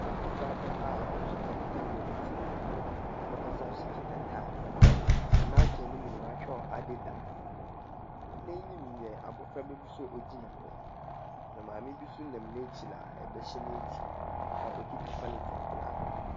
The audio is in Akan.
Abɔfraba a ɔso kɛntɛn wɔ ne tsir do, na ɔsan nso kita tae. Na n'atar no mu no wɔatwerɛ Adidas. N'enyim na abɔfraba nso ɔgyima hɔ, na maame bi nso nam n'ekyir a ba hyɛ n'ekyir a ɔkita polythene black.